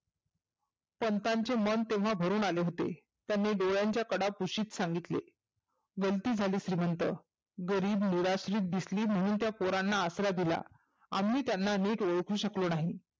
पंतांचे मन तेव्हा भरूण आले होते. त्यांनी डोळ्यांच्या कडा पुशीत सांगितले गलती झाली श्रिमंत. गरीब निराश्रीत दिसली म्हणून त्या पोरांना आश्रय दिला. आम्ही त्यांना नीट ओळखू शकलो नाही.